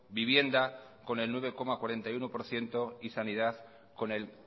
vivienda con el nueve coma cuarenta y uno por ciento y sanidad con el